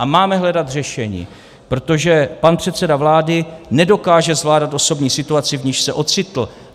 A máme hledat řešení, protože pan předseda vlády nedokáže zvládat osobní situaci, v níž se ocitl.